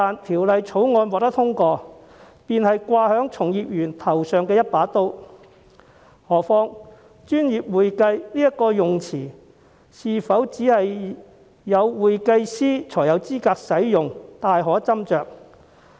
《條例草案》一旦獲得通過，就會變成架在從業員頭上的一把刀，更何況"專業會計"這個稱謂是否只有會計師才有資格使用，確實有斟酌餘地。